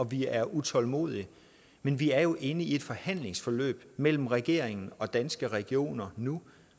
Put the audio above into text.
vi er utålmodige men vi er jo inde i et forhandlingsforløb mellem regeringen og danske regioner nu